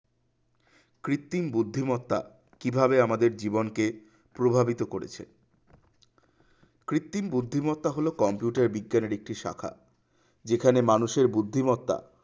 কৃত্রিম বুদ্ধিমত্তা কিভাবে আমাদের জীবনকে প্রভাবিত করেছে কৃত্রিম বুদ্ধিমত্তা হলো computer বিজ্ঞান ভিত্তিক শাখা যেখানে মানুষের বুদ্ধিমত্তা